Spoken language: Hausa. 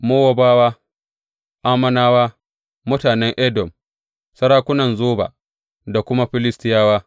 Mowabawa, Ammonawa, mutanen Edom, sarakunan Zoba, da kuma Filistiyawa.